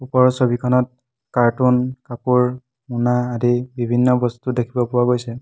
ওপৰৰ ছবিখনত কাৰ্টুন কাপোৰ মোনা আদি বিভিন্ন বস্তু দেখিব পোৱা গৈছে।